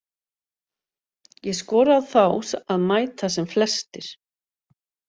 Ég skora á þá að mæta sem flestir.